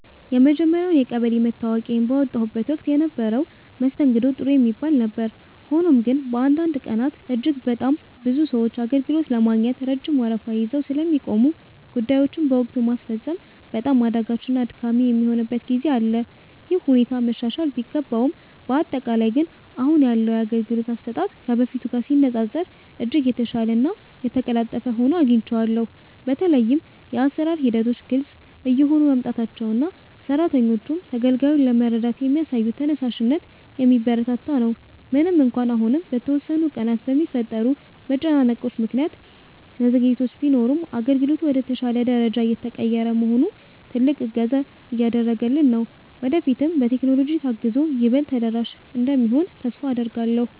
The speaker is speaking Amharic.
የመጀመርያውን የቀበሌ መታወቂያዬን ባወጣሁበት ወቅት የነበረው መስተንግዶ ጥሩ የሚባል ነበር። ሆኖም ግን፣ በአንዳንድ ቀናት እጅግ በጣም ብዙ ሰዎች አገልግሎት ለማግኘት ረጅም ወረፋ ይዘው ስለሚቆሙ፣ ጉዳዮችን በወቅቱ ማስፈጸም በጣም አዳጋችና አድካሚ የሚሆንበት ጊዜ አለ። ይህ ሁኔታ መሻሻል ቢገባውም፣ በአጠቃላይ ግን አሁን ያለው የአገልግሎት አሰጣጥ ከበፊቱ ጋር ሲነፃፀር እጅግ የተሻለና የተቀላጠፈ ሆኖ አግኝቼዋለሁ። በተለይም የአሰራር ሂደቶች ግልጽ እየሆኑ መምጣታቸውና ሰራተኞቹም ተገልጋዩን ለመርዳት የሚያሳዩት ተነሳሽነት የሚበረታታ ነው። ምንም እንኳን አሁንም በተወሰኑ ቀናት በሚፈጠሩ መጨናነቆች ምክንያት መዘግየቶች ቢኖሩም፣ አገልግሎቱ ወደ ተሻለ ደረጃ እየተቀየረ መሆኑ ትልቅ እገዛ እያደረገልን ነው። ወደፊትም በቴክኖሎጂ ታግዞ ይበልጥ ተደራሽ እንደሚሆን ተስፋ አደርጋለሁ።